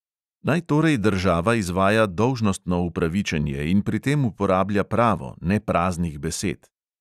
Naj torej država izvaja dolžnostno upravičenje in pri tem uporablja pravo, ne praznih besed.